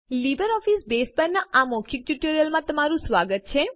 LibreOffice Base પરના આ મૌખિક ટ્યુટોરીયલમાં તમારું સ્વાગત છે